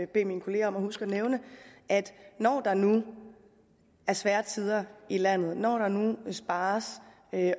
bede mine kolleger om at huske at nævne at det når der nu er svære tider i landet og når der nu spares